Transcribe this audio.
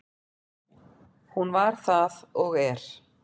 Hún var það og er.